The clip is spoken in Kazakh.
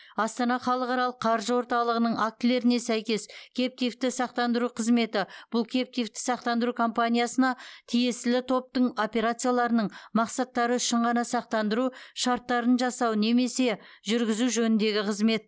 астана халықаралық қаржы орталығының актілеріне сәйкес кэптивті сақтандыру қызметі бұл кэптивті сақтандыру компаниясына тиесілі топтың операцияларының мақсаттары үшін ғана сақтандыру шарттарын жасау немесе жүргізу жөніндегі қызмет